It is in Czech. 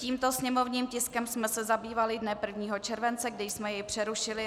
Tímto sněmovním tiskem jsme se zabývali dne 1. července, kdy jsme jej přerušili.